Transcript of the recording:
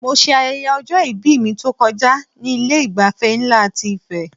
Mo ṣe ayẹyẹ ọjọ-ìbí mi tó kọjá ní Ilé ìgbafẹ́ nlá ti Ife